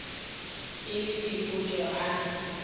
e le dipotsa o ra